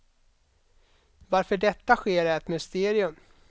Varför detta sker är ett mysterium.